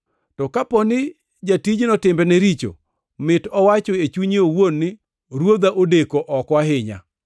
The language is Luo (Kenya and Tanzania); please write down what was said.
To kapo ni jatijno timbene richo, mit owacho e chunye owuon ni, Ruodha odeko oko ahinya,